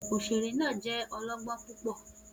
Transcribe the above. Oṣere naa jẹ ọlọgbọn pupọ